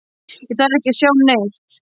Ég þarf ekki að sjá neitt.